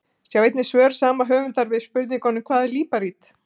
Sjá einnig svör sama höfundar við spurningunum: Hvað er líparít?